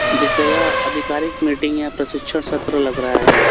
जैसे यह अधिकारिक मीटिंग या प्रशिक्षण सत्र लग रहा है।